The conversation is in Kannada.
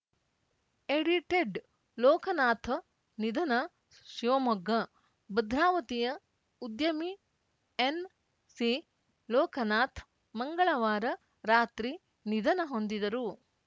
ಎಡಿಟೆಡ್‌ ಲೋಕನಾಥ್‌ ನಿಧನ ಶಿವಮೊಗ್ಗ ಭದ್ರಾವತಿಯ ಉದ್ಯಮಿ ಎನ್‌ಸಿ ಲೋಕನಾಥ್‌ ಮಂಗಳವಾರ ರಾತ್ರಿ ನಿಧನ ಹೊಂದಿದರು